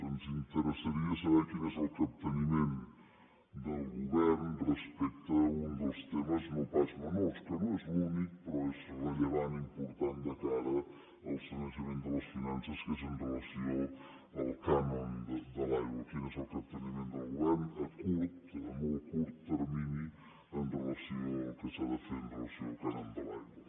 ens interessaria saber quin és el capteniment del govern respecte a un dels temes no pas menors que no és l’únic però és rellevant important de cara al sanejament de les finances que és amb relació al cànon de l’aigua quin és el capteniment del govern a curt a molt curt termini amb relació al que s’ha de fer amb relació al cànon de l’aigua